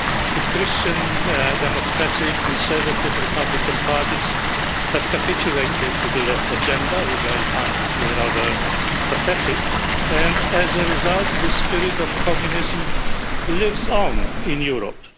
The Christian Democratic, Conservative, Republican parties have capitulated to the Left agenda, which I find rather pathetic, and as a result, the spirit of communism lives on in Europe.